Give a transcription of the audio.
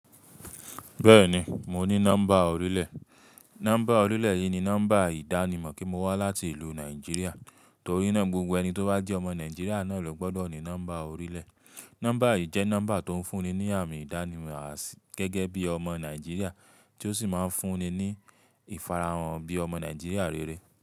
Bẹ́ẹ̀ni, mo ní nọ́mbà orílẹ̀. Nọ́mbà orílẹ̀ yìí ni nọ́mbà ìdánimọ̀ pẹ mo wá láti ìlú Nàìjíríà. Torí náà, gbogbo ẹni tó bá jẹ́ ọmọ Nàìjíríà náà lo gbọ́dọ̀ ní nọ́mbà orílẹ̀. Nọ́mbà yìí jẹ́ nọ́mbà tó ń fún ni ní àmì ìdánimọ̀ gẹ́gẹ́ bí ọmọ Nàìjíríà tí ó sì máa ń fún ni ní ìfarahàn bí ọmọ Nàìjíríà rere.